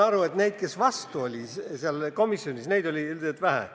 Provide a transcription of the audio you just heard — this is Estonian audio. Aga neid, kes komisjonis vastu olid, oli vähe.